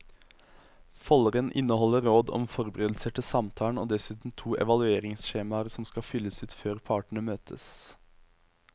Folderen inneholder råd om forberedelser til samtalen og dessuten to evalueringsskjemaer som skal fylles ut før partene møtes.